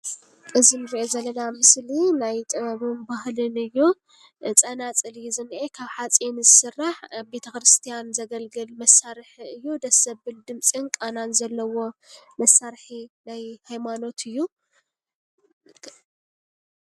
እዚ ንሪኦ ዘለና ምስሊ ናይ ጥበብን ባህልን እዩ:: ጸናጽል እዩ ዝኒሄ ።ካብ ሓጺን ዝስራሕ ኣብ ቤተ ኽርስትያን ዘገልግል መሳርሒ እዩ:: ደስ ዘብል ድምፅን ቃናን ዘለዎ መሳርሒ ናይ ሃይማኖት እዩ።